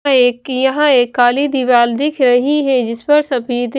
एक यहां एक काली दीवार दिख रही है जिस पर सभी--